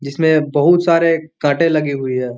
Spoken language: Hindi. जिसमे बहुत सारे कांटे लगी हुई है।